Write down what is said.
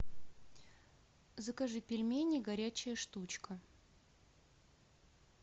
закажи пельмени горячая штучка